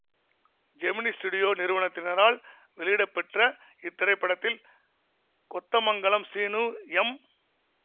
Gemini studio நிறுவனத்தினரால் வெளியிடப்பெற்ற இத்திரைப்படத்தில் கொத்தமங்கலம் சீனு எம்